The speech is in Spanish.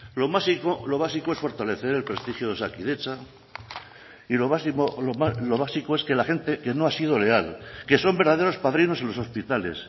lo básico es fortalecer el prestigio de osakidetza y lo básico es que la gente que no ha sido leal que son verdaderos padrinos en los hospitales